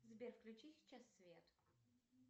сбер включи сейчас свет